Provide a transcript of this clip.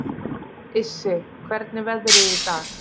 Issi, hvernig er veðrið í dag?